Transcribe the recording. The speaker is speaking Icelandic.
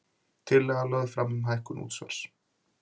Tillaga lögð fram um hækkun útsvars